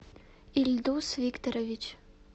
ильдус викторович